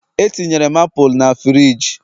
Etinyere m apụl na frigi